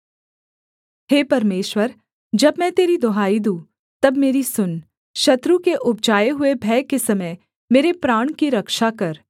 हे परमेश्वर जब मैं तेरी दुहाई दूँ तब मेरी सुन शत्रु के उपजाए हुए भय के समय मेरे प्राण की रक्षा कर